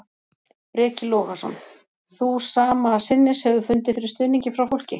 Breki Logason: Þú sama sinnis hefur fundið fyrir stuðningi frá fólki?